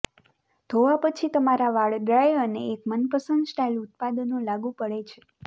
ધોવા પછી તમારા વાળ ડ્રાય અને એક મનપસંદ સ્ટાઇલ ઉત્પાદનો લાગુ પડે છે